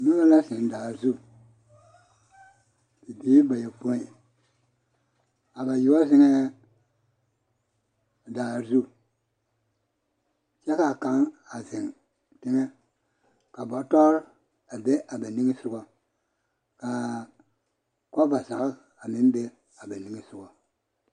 Noba la zeŋ daa zu bibiiri bayɔpoi a bayoɔ zeŋɛɛ daa zu kyɛ k'a kaŋ a zeŋ teŋɛ ka bɔtɔre a be a ba niŋesogɔ k'a kɔba zage a meŋ be a ba niŋesogɔ.